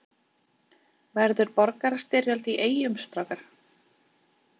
Verður borgarastyrjöld í Eyjum strákar?